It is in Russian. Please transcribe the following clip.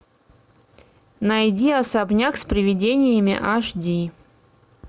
найди особняк с приведениями аш ди